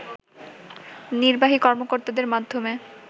নির্বাহী কর্মকর্তাদের মাধ্যমে